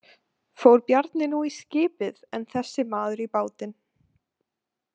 Fór Bjarni nú í skipið en þessi maður í bátinn.